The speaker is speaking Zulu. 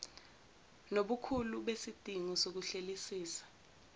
nobukhulu besidingo sokuhlelisisa